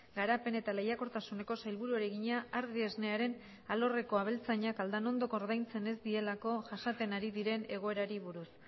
garapen eta lehiakortasuneko sailburuari egina ardiesnearen alorreko abeltzainak aldanondok ordaintzen ez dielako jasaten ari diren egoerari buruz